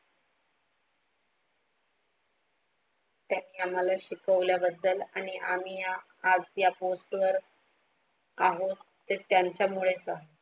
त्यांनी आम्हाला शिकायला बद्दल आणि आम्ही या आज या POST वर आहोत तर त्यांच्यामुळे आहोत.